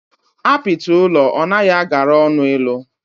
Apiti ulọ o nahi agara onu ilu.